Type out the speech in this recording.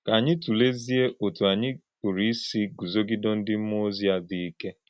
Ka ányí tụ̀lézìe ọ́tụ́ ányí pụ̀rụ̀ ísì gúzogìdé ndí mmúọ́ á dị́ íké.